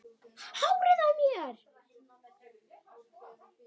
Hárið á mér?